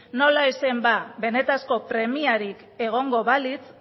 nola ez zen ba benetako premiarik egongo balitz